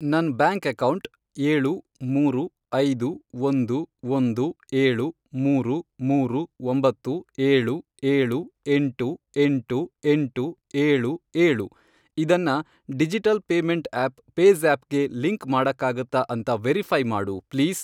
ನನ್ bank account, ಏಳು, ಮೂರು, ಐದು, ಒಂದು, ಒಂದು, ಏಳು, ಮೂರು, ಮೂರು, ಒಂಬತ್ತು, ಏಳು, ಏಳು, ಎಂಟು, ಎಂಟು, ಎಂಟು, ಏಳು, ಏಳು, ಇದನ್ನ ಡಿಜಿಟಲ್ ಪೇಮೆಂಟ್ ಆಪ್ ಪೇಜ಼್ಯಾಪ್ ಗೆ ಲಿಂಕ್ ಮಾಡಕ್ಕಾಗತ್ತಾ ಅಂತ ವೆರಿಫೈ಼ ಮಾಡು ಪ್ಲೀಸ್?